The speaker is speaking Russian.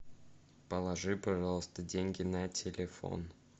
положи пожалуйста деньги на телефон